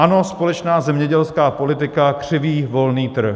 Ano, společná zemědělská politika křiví volný trh.